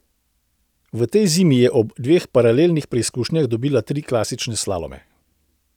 V tej zimi je ob dveh paralelnih preizkušnjah dobila tri klasične slalome.